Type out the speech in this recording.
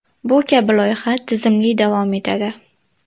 Bu kabi loyiha tizimli davom etadi.